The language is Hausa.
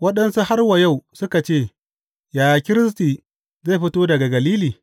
Waɗansu har wa yau suka ce, Yaya Kiristi zai fito daga Galili?